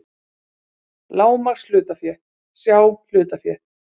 Lágmarkshlutafé, sjá hlutafé